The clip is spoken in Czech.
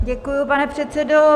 Děkuji, pane předsedo.